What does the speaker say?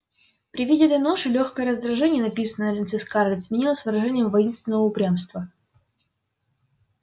при виде этой ноши лёгкое раздражение написанное на лице скарлетт сменилось выражением воинственного упрямства